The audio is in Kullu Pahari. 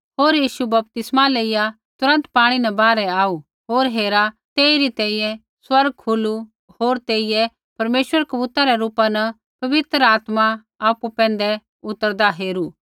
होर यीशु बपतिस्मा लेइया तुरन्त पाणी न बाहरै आऊ होर हेरा तेइरी तैंईंयैं स्वर्ग खुलू होर तेइयै परमेश्वर कबूतरा रै रूपा न पवित्र आत्मा आपु पैंधै उतरदा हेरू